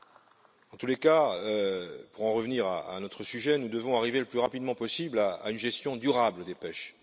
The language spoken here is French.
Dans tous les cas, pour en revenir à notre sujet, nous devons arriver le plus rapidement possible à une gestion durable des pêches.